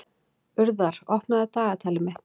Urðar, opnaðu dagatalið mitt.